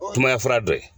Sumaya fura dɔ ye